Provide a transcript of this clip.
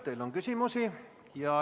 Teile on küsimusi.